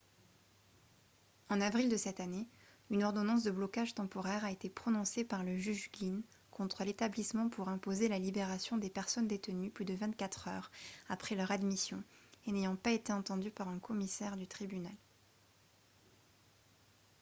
en avril de cette année une ordonnance de blocage temporaire a été prononcée par le juge glynn contre l'établissement pour imposer la libération des personnes détenues plus de 24 heures après leur admission et n'ayant pas été entendues par un commissaire du tribunal